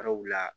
Yɔrɔw la